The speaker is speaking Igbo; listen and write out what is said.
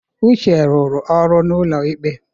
Uche rụrụ ọrụ n'ụlọ ikpe.